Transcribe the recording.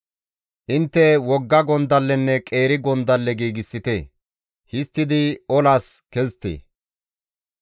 «Intte wogga gondallenne qeeri gondalle giigsite; histtidi olas kezite!